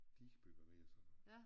Digebyger og sådan noget